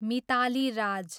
Mitali Raj